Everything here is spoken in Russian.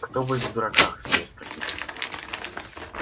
кто будет в дураках смею спросить